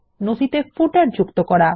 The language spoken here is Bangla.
নথিতে পাদলেখ যুক্ত করা